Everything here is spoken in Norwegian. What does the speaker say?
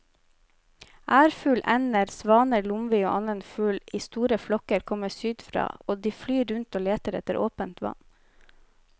Ærfugl, ender, svaner, lomvi og annen fugl i store flokker kommer sydfra og de flyr rundt og leter etter åpent vann.